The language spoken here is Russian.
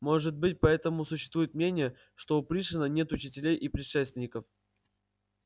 может быть поэтому существует мнение что у пришвина нет учителей и предшественников